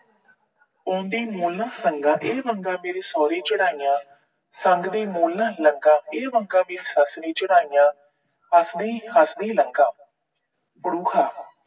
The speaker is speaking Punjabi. ਪਾਉਂਦੀ ਨਾ ਸੰਗਾਂ, ਇਹ ਵੰਗਾਂ ਮੇਰੀ ਸੋਹਰੀ ਚੜਾਈਆਂ, ਸੰਗਦੀ ਨਾ ਲੰਘਾ। ਇਹ ਇਹ ਵੰਗਾਂ ਮੇਰੀ ਸੱਸ ਨੇ ਚੜਾਈਆਂ, ਹੱਸਦੀ ਹੱਸਦੀ ਲੰਘਾ।